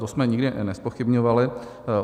To jsme nikdy nezpochybňovali.